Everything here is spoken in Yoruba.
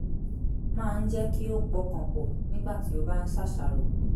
máa ń jẹ́ kí ó pọkàn pọ̀ nígbà tí ó bá ń ṣàṣàrò